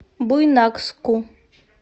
буйнакску